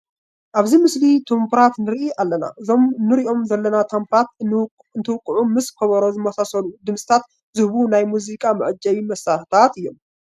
ኣብዚ ምስሊ ታምቡራት ንርኢ ኣለና፡፡ እዞም ንሪኦም ዘለና ታምቡራት እንትውቅዑ ምስ ከበሮ ዝመሳሰሉ ድምፅታት ዝህቡ ናይ ሙዚቃ መዓጀቢ መሳርሕታት እዮም፡፡